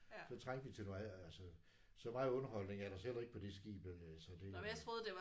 Så trængte vi til noget andet altså. Så meget underholdning er der altså heller ikke på de skibe altså det